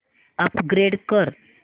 upgrade कर